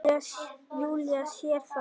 Júlía sér það.